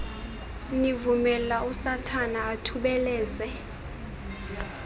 nivumela usathana athubeleze